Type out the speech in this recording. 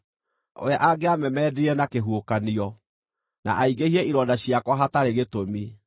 We angĩamemendire na kĩhuhũkanio, na aingĩhie ironda ciakwa hatarĩ gĩtũmi.